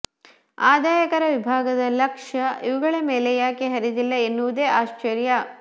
ಆದಾಯಕರ ವಿಭಾಗದ ಲಕ್ಷ್ಯ ಇವುಗಳ ಮೇಲೆ ಯಾಕೆ ಹರಿದಿಲ್ಲ ಎನ್ನುವುದೇ ಆಶ್ಚರ್ಯ